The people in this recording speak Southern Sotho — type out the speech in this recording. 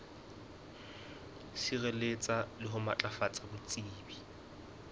sireletsa le ho matlafatsa botsebi